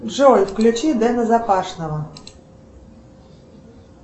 джой включи дэна запашного